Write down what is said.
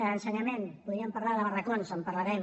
a ensenyament podríem parlar de barracons en parlarem